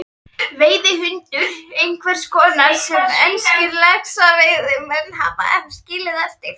Veiðihundur einhvers konar sem enskir laxveiðimenn hafa skilið eftir.